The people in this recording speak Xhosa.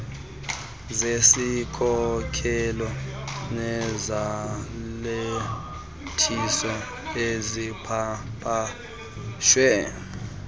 zesikhokelo nezalathisi ezipapashwe